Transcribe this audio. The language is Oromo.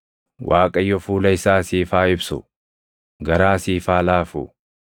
Waaqayyo fuula isaa siif haa ibsu; garaa siif haa laafu.